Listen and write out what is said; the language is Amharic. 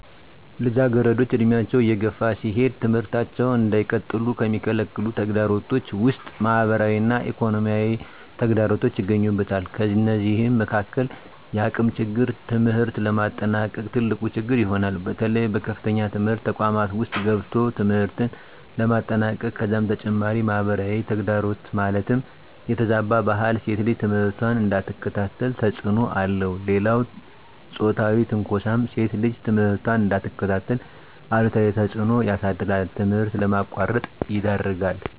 ልጃገረዶች ዕድሜያቸው እየገፋ ሲሄድ ትምህርታቸውን እንዳይቀጥሉ ከሚከለክሉ ተግዳሮቶች ውስጥ ማህበራዊ እና ኢኮኖሚያዊ ተግዳሮቶች ይገኙበታል። ከነዚህም መካካል የአቅም ችግር ትምህርት ለማጠናቀቅ ትልቁ ችግር ይሆናል። በተለይ በከፍተኛ ትምህርት ተቋማት ውስጥ ገብቶ ትምህርትን ለማጠናቀቅ ከዛም በተጨማሪ ማህበራዊ ተግዳሮት ማለትም የተዛባ ባህል ሴት ልጅ ትምህርቷን እንዳትከታተል ተፅዕኖ አለው። ሌላው ፆታዊ ትንኳሳም ሴት ልጅ ትምህርቷን እንዳትከታተል አሉታዊ ተፅዕኖ ያሳድራል ትምህርት ለማቋረጥ ይዳርጋል።